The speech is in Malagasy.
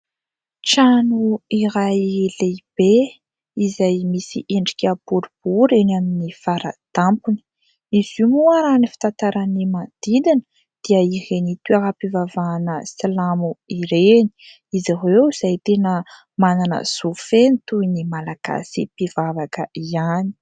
Trano iray lehibe izay misy endrika boribory eny amin'ny fara-tampony, izy io moa raha ny fitantaran'ny manodidina dia ireny toeram-pivavahana silamo ireny, izy ireo izay tena manana zo feno toy ny Malagasy mpivavaka ihany.